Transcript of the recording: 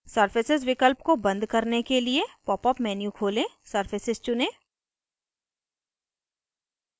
surface विकल्प को बंद करने के लिए popअप menu खोलें surfaces चुनें